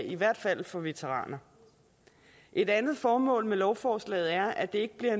i hvert fald for veteraner et andet formål med lovforslaget er at det ikke bliver